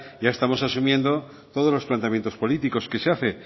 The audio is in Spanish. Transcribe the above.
ya estamos asumiendo todos los planteamientos políticos que se hace